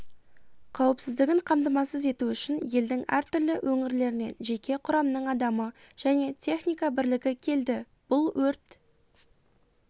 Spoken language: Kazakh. қауіпсіздігін қамтамасыз ету үшін елдің әртүрлі өңірлерінен жеке құрамның адамы және техника бірлігі келді бұл өрт